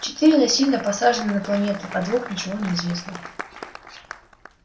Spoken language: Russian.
четыре насильно посажены на планету о двух ничего не известно